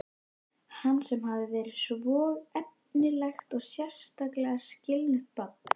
Hann sem hafði verið svo efnilegt og sérstaklega skynugt barn.